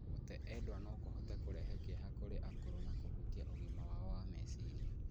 Gũte endwa no kũhote kũrehe kĩeha kũrĩ akũrũ na kũhutia ũgima wao wa meciria.